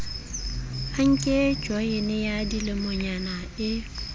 anke joyene ya dilemonyana e